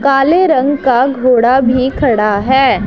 काले रंग का घोड़ा भी खड़ा है।